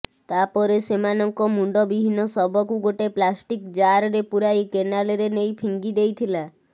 ତା ପରେ ସେମାନଙ୍କ ମୁଣ୍ଡବିହୀନ ଶବକୁ ଗୋଟେ ପ୍ଲାଷ୍ଟିକ ଜାରରେ ପୁରାଇ କେନାଲରେ ନେଇ ଫିଙ୍ଗିଦେଇଥିଲା